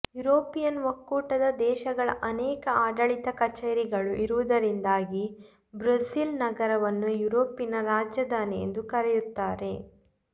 European ಒಕ್ಕೂಟದ ದೇಶಗಳ ಅನೇಕ ಆಡಳಿತ ಕಚೇರಿಗಳು ಇರುವುದರಿಂದಾಗಿ ಬ್ರುಸೆಲ್ಸ್ ನಗರವನ್ನು ಯುರೋಪಿನ ರಾಜಧಾನಿ ಎಂದೂ ಕರೆಯುತ್ತಾರೆ